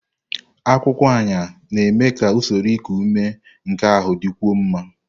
Akwụkwọ Ayan na-eme ka usoro iku ume nke ahụ dịkwuo mma.